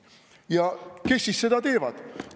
Ja kes siis seda teevad?